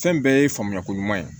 Fɛn bɛɛ ye faamuya ko ɲuman ye